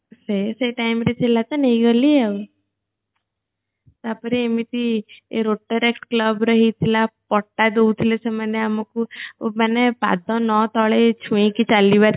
ସେ ସେ time ରେ ଥିଲା ତ ନେଇଗଲି ଆଉ ତାପରେ router club ରେ ହେଇଥିଲା ପଟା ଦଉଥିଲେ ସେମାନେ ଆମକୁ ମାନେ ପାଦ ନ ତଳେ ଛୁଇଁକି ଚାଲିବାର ଥିଲା